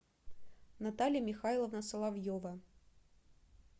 наталья михайловна соловьева